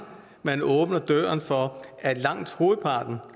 man åbner døren for at langt hovedparten